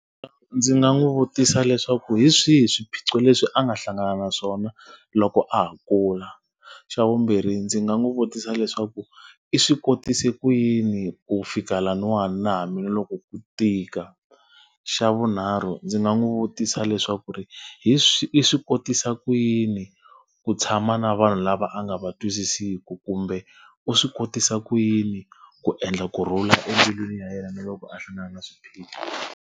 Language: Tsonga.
Ndzi nga n'wi vutisa leswaku hi swihi swiphiqo leswi a nga hlangana na swona loko a ha kula? Xa vumbirhi ndzi nga n'wi vutisa leswaku i swi kotise ku yini ku fika lahawana na hambiloko ku tika? Xa vunharhu ndzi nga n'wi vutisa leswaku ri hi i swi kotisa ku yini ku tshama na vanhu lava a nga va twisisiku? Kumbe u swi kotisa ku yini ku endla kurhula embilwini ya yena na loko a hlangana na swiphiqo?